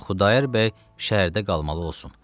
Elə Xudayar bəy şərdə qalmalı olsun.